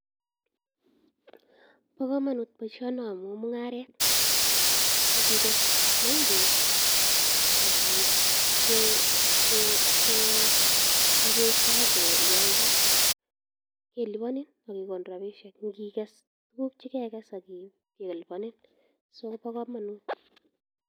Po kamanut poishoni amu mung'aret. Ngikes maembek ak iip ipkipesha ak ialde kelipanin ak kekonin rapishek. Ngikes tuguk che kekess kelipanin. So, ko pa kamanut .